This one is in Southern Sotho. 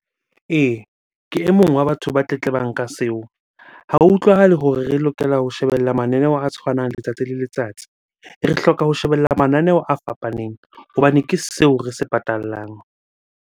Ee, ke e mong wa batho ba tletlebang ka seo. Ha ho utlwahale hore re lokela ho shebella mananeo a tshwanang letsatsi le letsatsi. Re hloka ho shebella mananeo a fapaneng hobane ke seo re se patallang.